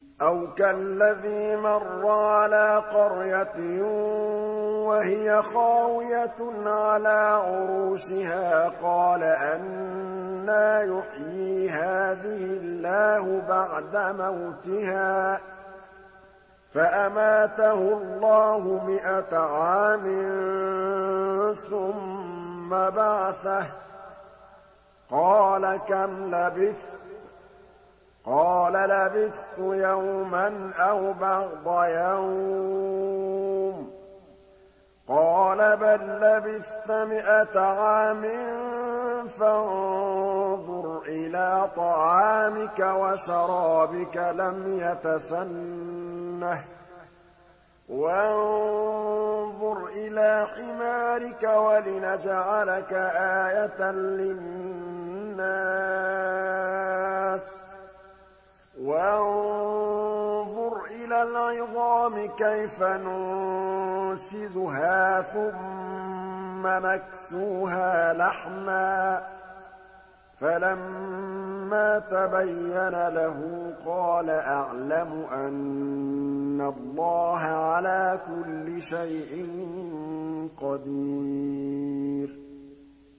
أَوْ كَالَّذِي مَرَّ عَلَىٰ قَرْيَةٍ وَهِيَ خَاوِيَةٌ عَلَىٰ عُرُوشِهَا قَالَ أَنَّىٰ يُحْيِي هَٰذِهِ اللَّهُ بَعْدَ مَوْتِهَا ۖ فَأَمَاتَهُ اللَّهُ مِائَةَ عَامٍ ثُمَّ بَعَثَهُ ۖ قَالَ كَمْ لَبِثْتَ ۖ قَالَ لَبِثْتُ يَوْمًا أَوْ بَعْضَ يَوْمٍ ۖ قَالَ بَل لَّبِثْتَ مِائَةَ عَامٍ فَانظُرْ إِلَىٰ طَعَامِكَ وَشَرَابِكَ لَمْ يَتَسَنَّهْ ۖ وَانظُرْ إِلَىٰ حِمَارِكَ وَلِنَجْعَلَكَ آيَةً لِّلنَّاسِ ۖ وَانظُرْ إِلَى الْعِظَامِ كَيْفَ نُنشِزُهَا ثُمَّ نَكْسُوهَا لَحْمًا ۚ فَلَمَّا تَبَيَّنَ لَهُ قَالَ أَعْلَمُ أَنَّ اللَّهَ عَلَىٰ كُلِّ شَيْءٍ قَدِيرٌ